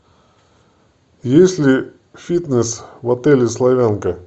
есть ли фитнес в отеле славянка